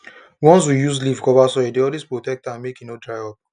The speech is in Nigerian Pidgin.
once we use leaf cover soil e dey always protect am make e no dry up